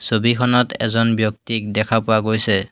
ছবিখনত এজন ব্যক্তিক দেখা পোৱা গৈছে।